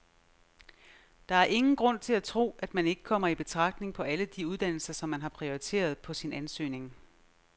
Der er ingen grund til at tro, at man ikke kommer i betragtning på alle de uddannelser, som man har prioriteret på sin ansøgning.